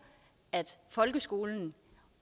at folkeskolen